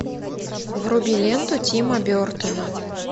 вруби ленту тима бертона